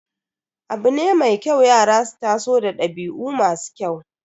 Abu ne mai kyau yara su taso da dabi'u masu kyau.